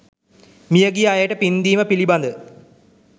මියගිය අයට පින්දීම පිළිබඳ